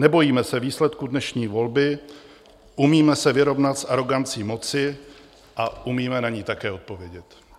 Nebojíme se výsledků dnešní volby, umíme se vyrovnat s arogancí moci a umíme na ni také odpovědět.